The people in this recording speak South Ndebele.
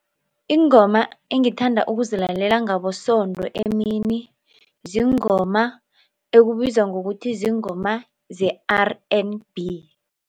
Iingoma engithanda ukuzilalela ngabosondo emini ziingoma ekubizwa ngokuthi ziingoma ze-R and B.